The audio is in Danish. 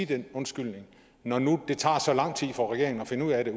den undskyldning når nu det tager så lang tid for regeringen at finde ud af det